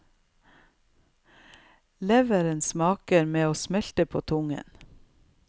Leveren svarer med å smelte på tungen.